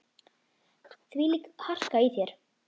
Þvílík harka í þér.